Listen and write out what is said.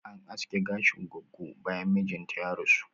An aske gashin goggo bayan mijinta ya rasu